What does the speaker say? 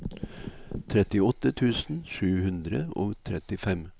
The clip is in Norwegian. trettiåtte tusen sju hundre og trettifem